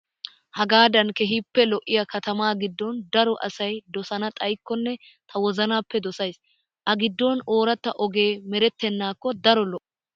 hagaadan keehippe lo''iya katamaa giddon daro asayi dosana xayikkonne ta wozanappe dosayis . A giddon ooratta ogee merettennaakko daro lo''o.